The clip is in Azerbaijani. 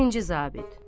Birinci zabit.